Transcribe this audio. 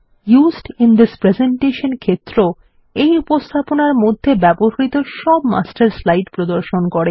used in this presentation ক্ষেত্র এই উপস্থাপনার মধ্যে ব্যবহৃত সব মাস্টার স্লাইড প্রদর্শন করে